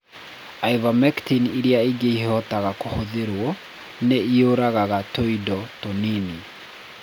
Ivermectin ĩrĩa ĩngĩ ĩhotaga kũhũthĩrũo, nĩ ĩũragaga tu tũindo tũnini.